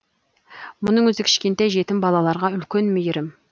мұның өзі кішкентай жетім балаларға үлкен мейірім